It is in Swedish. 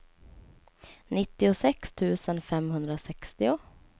nittiosex tusen femhundrasextio